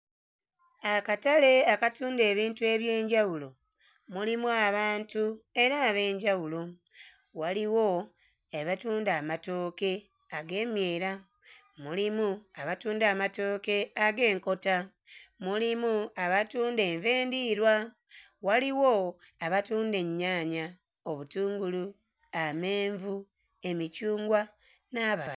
Akatale akatunda ebintu eby'enjawulo, mulimu abantu era ab'enjawulo, waliwo abatunda amatooke ag'emyera, mulimu abatunda amatooke ag'enkota, mulimu abatunda enva endiirwa, waliwo abatunda ennyaanya, obutungulu, amenvu, emicungwa n'abalala.